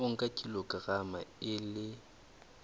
o nka kilograma e le